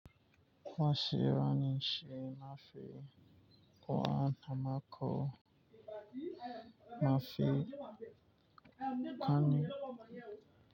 Wa she wa ni shi mafi wa na mako mafi hannu.